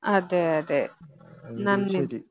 അതെ അതെ നന്ദി